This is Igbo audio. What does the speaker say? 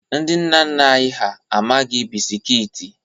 Ndị nna nna anyị ha amaghị bisikiiti.